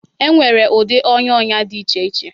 Enwere ụdị ọnya ọnya dị iche iche